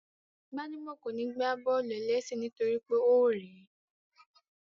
Gbádébọ̀ kò ní gbá bọ́ọ̀lù-ẹlẹ́sẹ̀ nítorí pé ó rẹ̀ẹ́